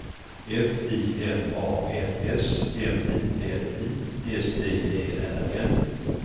F I N A N S M I N I S T E R N